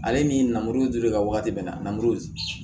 Ale ni namuru dilen ka wagati min na na muru